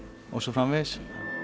og svo framvegis